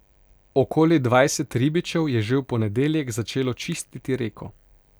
Okoli dvajset ribičev je že v ponedeljek začelo čistiti reko.